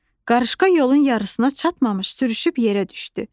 Qarışqa yolun yarısına çatmamış sürüşüb yerə düşdü.